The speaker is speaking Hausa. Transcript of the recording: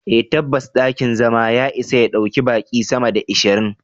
Eh tabbas dakin zama ya isa ya ɗauki baqi sama da ashirin.